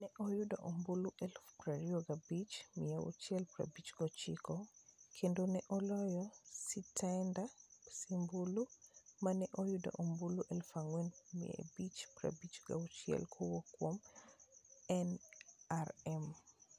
Ne oyudo ombulu 25,659, kendo ne oloyo Sitenda Sebalu, ma ne oyudo ombulu 4,556 kowuok kuom NRM.